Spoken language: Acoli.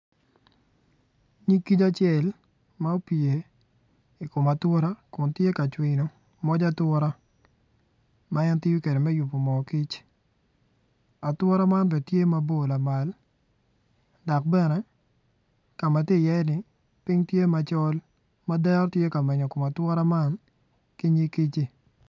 Nyig kic acel ma ocung i kom atura kun tye ka cwino pig atura ma en tiyo kwede me yubo mo kic atura man bene tye mabor lamal dok bene ka ma tye iyeni piny tye macol ma dero tye ka menyo kom atura man ki nyig kic-ci.